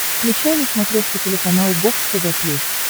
включай на смотрешке телеканал бокс тв плюс